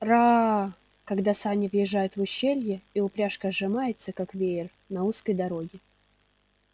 раа когда сани въезжают в ущелье и упряжка сжимается как веер на узкой дороге